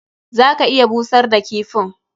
Za ka iya busar da kifin.